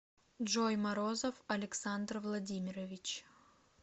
джой морозов александр владимирович